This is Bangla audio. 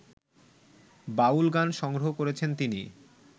বাউল গান সংগ্রহ করেছেন তিনি